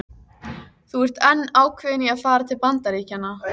Þú ert enn ákveðin í að fara til Bandaríkjanna?